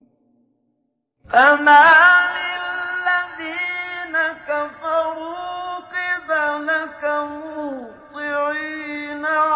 فَمَالِ الَّذِينَ كَفَرُوا قِبَلَكَ مُهْطِعِينَ